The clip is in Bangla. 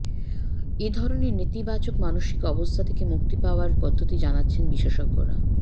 এ ধরনের নেতিবাচক মানসিক অবস্থা থেকে মুক্তি পাওয়ার পদ্ধতি জানাচ্ছেন বিশেষজ্ঞরা